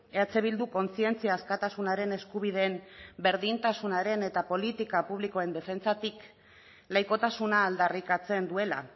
eh bilduk kontzientzia askatasunaren eskubideen berdintasunaren eta politika publikoen defentsatik laikotasuna aldarrikatzen duela